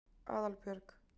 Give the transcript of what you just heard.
Aðalbjörg